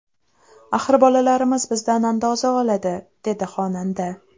Axir bolalarimiz bizdan andoza oladi”, dedi xonanda.